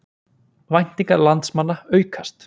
Væntingar landsmanna aukast